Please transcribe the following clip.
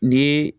Ni